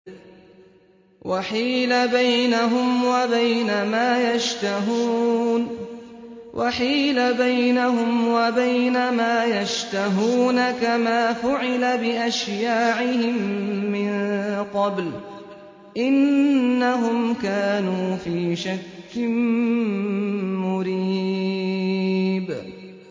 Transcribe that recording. وَحِيلَ بَيْنَهُمْ وَبَيْنَ مَا يَشْتَهُونَ كَمَا فُعِلَ بِأَشْيَاعِهِم مِّن قَبْلُ ۚ إِنَّهُمْ كَانُوا فِي شَكٍّ مُّرِيبٍ